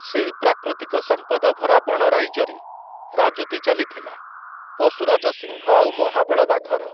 ସେଇ ପ୍ରାକୃତିକ ସମ୍ପଦଭରା ବଣ ରାଇଜରେ, ରାଜୁତି ଚାଲିଥିଲା, ପଶୁରାଜ ସିଂହ ଆଉ ମହାବଳ ବାଘର ।